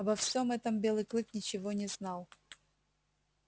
обо всём этом белый клык ничего не знал